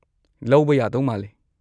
ꯂꯧꯕ ꯌꯥꯗꯧ ꯃꯥꯜꯂꯤ꯫